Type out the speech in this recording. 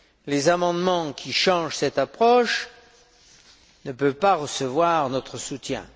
Les amendements qui modifient cette approche ne peuvent pas recevoir notre soutien.